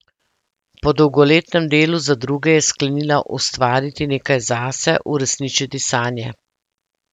Po dolgoletnem delu za druge je sklenila ustvariti nekaj zase, uresničiti sanje.